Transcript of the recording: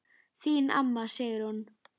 Þín amma, Sigrún.